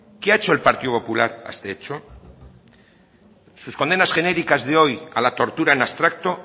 qué ha hecho el partido popular ante eso sus condenas genéricas de hoy a la tortura en abstracto